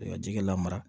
Ka ji kɛ lamara